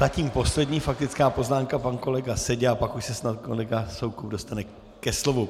Zatím poslední faktická poznámka pan kolega Seďa a pak už se snad kolega Soukup dostane ke slovu.